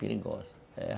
Perigosa, é...